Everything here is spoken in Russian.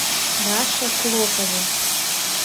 раше клокове